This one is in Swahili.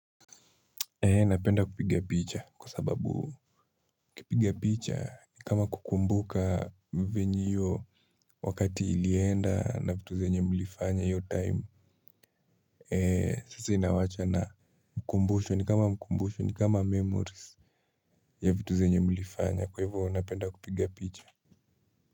Napenda kupiga picha kwa sababu ukipiga picha ni kama kukumbuka venye hiyo wakati ilienda na vitu zenye mlifanya hiyo time. Sasa inawacha na mkumbusho ni kama memories ya vitu zenye mlifanya kwa hivyo napenda kupiga picha.